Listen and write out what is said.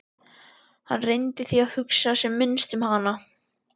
Hann reyndi því að hugsa sem minnst um hana.